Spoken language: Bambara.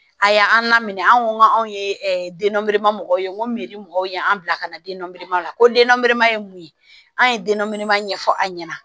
A y'an laminɛ an ko n k'an ye denbaw ye n ko mɔgɔw ye an bila ka na denmanko denba ye mun ye an ye denba ɲɛfɔ aw ɲɛna